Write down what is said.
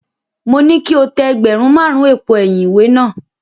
Mo ní kí o tẹ ẹgbẹ̀rún márùn-ún èpo ẹ̀yìn ìwé náà.